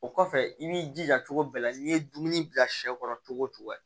O kɔfɛ i b'i jija cogo bɛɛ la n'i ye dumuni bila sɛ kɔrɔ cogo cogo